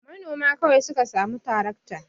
Manoma kawai su ka samu tarakta.